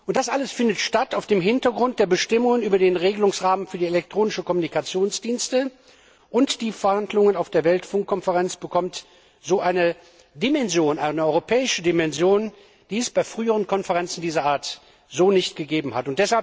Das alles findet vor dem Hintergrund der Bestimmungen über den Regelungsrahmen für die elektronischen Kommunikationsdienste statt, und die Verhandlungen auf der Weltfunkkonferenz bekommen so eine europäische Dimension, die es bei früheren Konferenzen dieser Art so nicht gegeben hat.